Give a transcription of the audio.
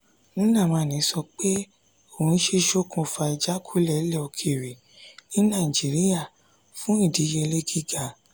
nnamani sọ pé òun ṣe ṣokùnfà ìjákulẹ̀ ilé okere ní naijiriya fún ìdíyelé giga.